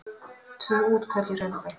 Tvö útköll í Hraunbæ